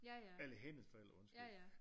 Eller hendes forældre undskyld